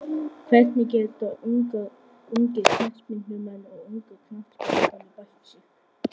Hvernig geta ungir knattspyrnumenn og ungar knattspyrnukonur bætt sig?